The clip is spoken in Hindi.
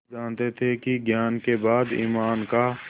वे जानते थे कि ज्ञान के बाद ईमान का